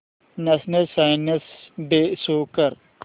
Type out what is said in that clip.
national science day show कर